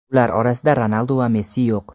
ular orasida Ronaldu va Messi yo‘q.